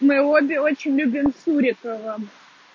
мы обе очень любим сурикова